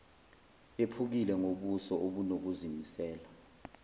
ephukile ngobuso obunokuzimisela